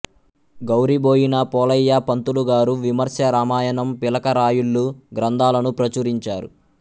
గౌరిబోయిన పోలయ్య పంతులు గారు విమర్శ రామాయణం పిలకరాయుళ్ళు గ్రంథాలను ప్రచురించారు